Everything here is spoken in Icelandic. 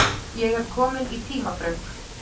Ég er kominn í tímaþröng.